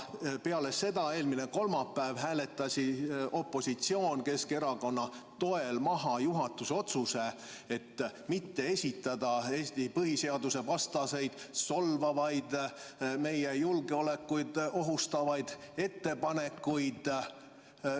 Peale selle hääletas opositsioon eelmine kolmapäev Keskerakonna toel maha juhatuse otsuse mitte esitada Eesti põhiseaduse vastaseid, solvavaid, meie julgeolekut ohustavaid ettepanekuid.